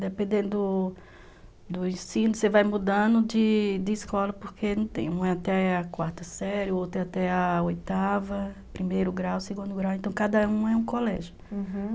Dependendo do do ensino, você vai mudando de de escola, porque um é até a quarta série, o outro é até a oitava, primeiro grau, segundo grau, então cada um é um colégio, uhum.